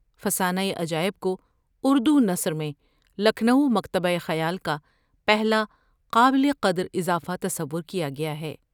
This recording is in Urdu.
فسانۂ عجائب کو اردونثر میں لکھنؤ مکتبہ خیال کا پہلا قابل قدراضافہ تصور کیا گیا ہے ۔